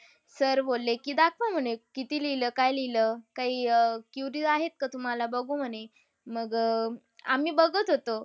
Sir बोलले की दाखवा म्हणे किती लिहलं, काय लिहलं. काय अह queries आहेत का तुम्हाला? बघू म्हणे. मग अह आम्ही बघत होतो.